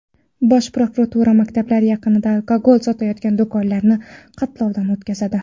Bosh prokuratura maktablar yaqinida alkogol sotayotgan do‘konlarni xatlovdan o‘tkazadi.